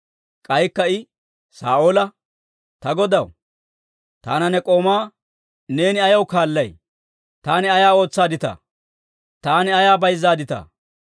K'aykka I Saa'oola, «Ta godaw, taana ne k'oomaa neeni ayaw kaallay? Taani ay ootsaadditaa? Taani ay bayzaadittaa?